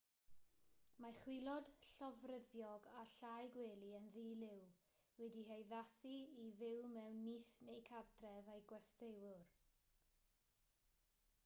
mae chwilod llofruddiog a llau gwely yn ddi-liw wedi'u haddasu i fyw mewn nyth neu gartref eu gwesteiwr